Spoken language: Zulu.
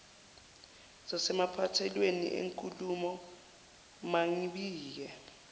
ngasemaphethelweni enkulumo mangibike